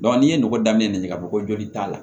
n'i ye nɔgɔ daminɛ nɛgɛ ɲini ka bɔ ko joli t'a la